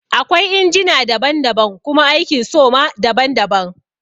Akwai injina daban daban kuma aikin so ma daban daban